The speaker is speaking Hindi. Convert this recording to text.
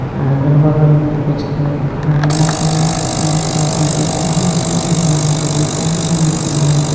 अगल-बगल कुछ खड़ा है पेड़ पौधा दिख रहा है अंधेरा भी दिख रहा है नीचे.